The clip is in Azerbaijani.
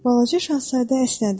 Balaca Şahzadə əsnədi.